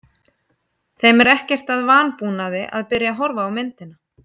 Þeim er ekkert að vanbúnaði að byrja að horfa á myndina.